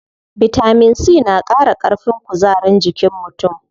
Bitamin C na qara ƙarfin kuzarin jikin mutum.